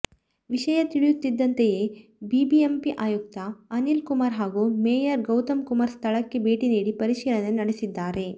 ವಿಷಯ ತಿಳಿಯುತ್ತಿದ್ದಂತೆಯೇ ಬಿಬಿಎಂಪಿ ಆಯುಕ್ತ ಅನಿಲ್ ಕುಮಾರ್ ಹಾಗೂ ಮೇಯರ್ ಗೌತಮ್ ಕುಮಾರ್ ಸ್ಥಳಕ್ಕೆ ಭೇಟಿ ನೀಡಿ ಪರಿಶೀಲನೆ ನಡೆಸಿದ್ದಾರೆ